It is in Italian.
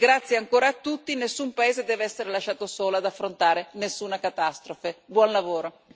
Quindi, grazie ancora tutti, nessun paese deve essere lasciato solo ad affrontare nessuna catastrofe, buon lavoro.